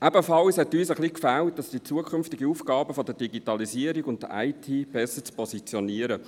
Ebenfalls fehlte uns ein bisschen, die zukünftigen Aufgaben der Digitalisierung und der IT besser zu positionieren.